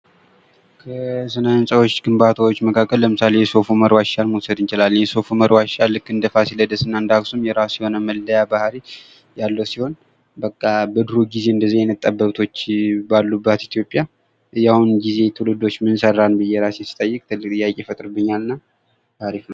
ስነ-ሕንፃዎች ግንባታዎች መካከል ለምሳሌ የሶፍ-ዑመር ዋሻ መውሰድ እንችላለን የሶፍ-ዑመር ዋሻ ልክ እንደ ፋሲለደስ እና እንደ አክሱም የእራሱ የሆነ መለያ ባህሪ ያለው ሲሆን በቃ በድሮ ጊዜ እንደዚ አይነት ጠበብቶች ባሉባት ኢትዮጵያ የአሁን ግዜ ትውልዶች ምን ሰራን ብየ እራሴን ስጠይቅ ትልቅ ጥያቄ ይፈጥርብኛ እና አሪፍ ነው።